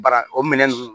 Bara o minɛn nunnu